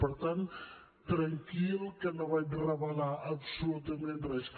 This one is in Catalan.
per tant tranquil que no vaig revelar absolutament res